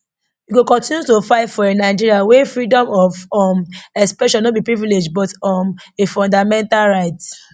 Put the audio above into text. we go kontinu to fight for a nigeria wia freedom of um expression no be a privilege but um a fundamental right